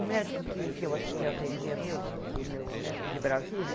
O médico que que eu eu atendia, meu meu médico de Brasília,